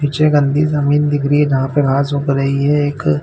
पीछे गन्दी जमीन दिख रही है जहाँ पर घाँस उग रही है एक--